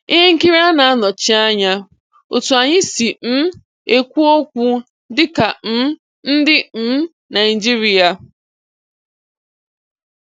Ihe nkiri a na-anọchi anya otu anyị si um ekwu okwu dịka um ndị um Naijiria.